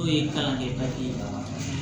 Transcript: N'o ye kalan kɛ